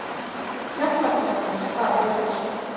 Fjallakollarnir þar eru í